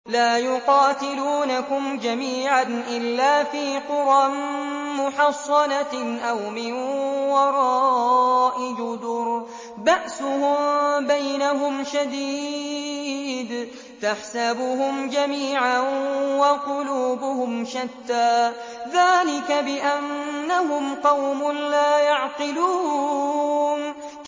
لَا يُقَاتِلُونَكُمْ جَمِيعًا إِلَّا فِي قُرًى مُّحَصَّنَةٍ أَوْ مِن وَرَاءِ جُدُرٍ ۚ بَأْسُهُم بَيْنَهُمْ شَدِيدٌ ۚ تَحْسَبُهُمْ جَمِيعًا وَقُلُوبُهُمْ شَتَّىٰ ۚ ذَٰلِكَ بِأَنَّهُمْ قَوْمٌ لَّا يَعْقِلُونَ